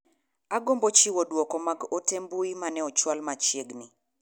Agombo chiwo duko mag ote mbui mane ochwal machiegni.